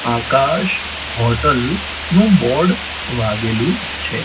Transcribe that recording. આકાશ hotel નું board વાગેલું છે.